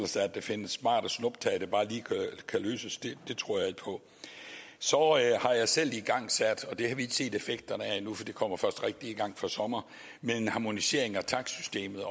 sig at der findes smartere snuptag der bare lige kan løse det det tror jeg ikke på så har jeg selv igangsat og det har vi ikke set effekterne af endnu for det kommer først rigtig i gang fra sommer en harmonisering af takstsystemet